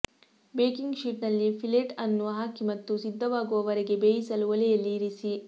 baking ಶೀಟ್ನಲ್ಲಿ fillet ಅನ್ನು ಹಾಕಿ ಮತ್ತು ಸಿದ್ಧವಾಗುವವರೆಗೆ ಬೇಯಿಸಲು ಒಲೆಯಲ್ಲಿ ಇರಿಸಿ